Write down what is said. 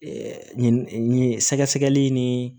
sɛgɛsɛgɛli ni